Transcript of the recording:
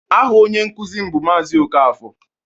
Aha onye nkuzi m bụ Maazị Okafor